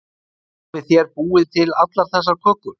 Hafið þér búið til allar þessar kökur?